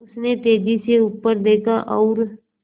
उसने तेज़ी से ऊपर देखा और